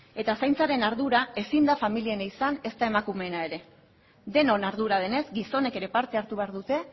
eta zaintzaren ardura ezin da familiena izan ezta emakumeena ere denon ardura denez gizonek ere parte hartu behar dute